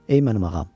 Ey mənim ağam.